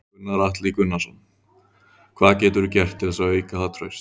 Gunnar Atli Gunnarsson: Hvað geturðu gert til þess að auka það traust?